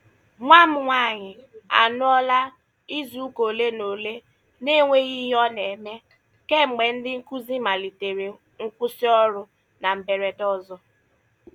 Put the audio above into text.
Nwa m nwaanyị anọọla izuụka ole na ole n'enweghị ihe ọ na-eme kemgbe ndị nkụzi malitere nkwụsị ọrụ na mberede ọzọ.